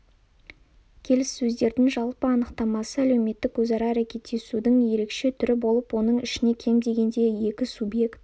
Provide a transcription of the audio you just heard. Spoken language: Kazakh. келіссөздердің жалпы анықтамасы әлеуметтік өзара әрекеттесудің ерекше түрі болып оның ішіне кем дегенде екі субъект